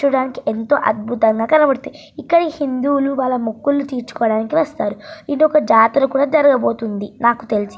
చూడ్డానికి ఎంతో అద్భుతంగా కనబడుతుంది. ఇక్కడ హిందువులు వాళ్ల మొక్కులను తీసుకోవడానికి వస్తారు. ఇక్కడ ఒక జాతర కూడా జరగబోతుంది నాకు తెలిసి.